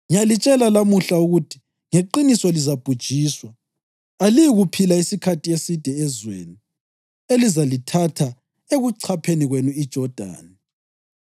ngiyalitshela lamuhla ukuthi ngeqiniso lizabhujiswa. Aliyi kuphila isikhathi eside ezweni elizalithatha ekuchapheni kwenu iJodani.